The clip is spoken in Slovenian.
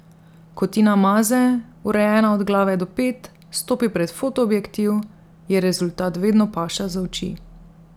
Ko Tina Maze, urejena od glave do pet, stopi pred fotoobjektiv, je rezultat vedno paša za oči.